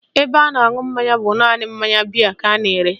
Ebe a na-aṅụ mmanya bụ naanị mmanya bịe ka a na-ere